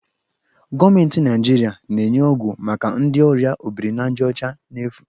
Gọọmentị Naijiria na-enye ọgwụ maka ndị ọrịa obirinajaọcha n'efu.